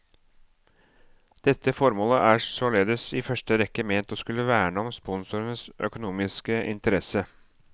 Dette formålet er således i første rekke ment å skulle verne om sponsorens økonomiske interesse.